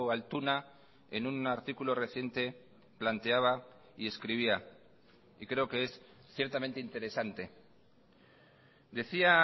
altuna en un articulo reciente planteaba y escribía y creo que es ciertamente interesante decía